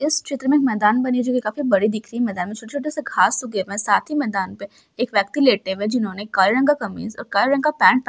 एक मैदान दिख रही है काफी बड़ा मैदान दिख रहा है| मैदान में छोटे-छोटे घास उगे हुए है| साथी मैदान पे एक व्यक्ति लेटे हुए है दिन जिन्होंने काले रंग का कमीज़ और काले रंग का पेंट पहना हुआ है।